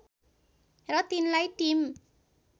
र तिनलाई टिम